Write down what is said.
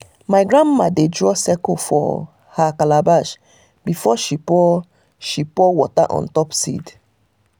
my grandma a dey draw circles for her calabash before she pour before she pour water on top seed.